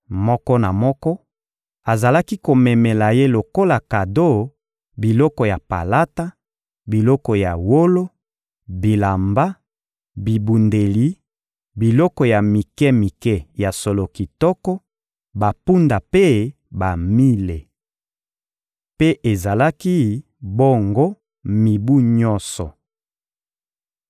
Moko na moko azalaki komemela ye lokola kado biloko ya palata, biloko ya wolo, bilamba, bibundeli, biloko ya mike-mike ya solo kitoko, bampunda mpe bamile. Mpe ezalaki bongo mibu nyonso.